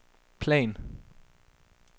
plan